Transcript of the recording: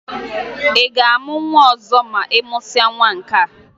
Ị ga-amụ nwa ọzọ ma ị mụsịa nwa nkea?